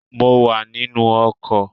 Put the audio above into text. I'm in a bus